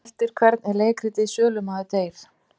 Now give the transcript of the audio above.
Eftir hvern er leikritið Sölumaður deyr?